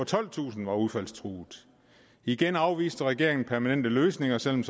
tolvtusind var udfaldstruede igen afviste regeringen permanente løsninger selv om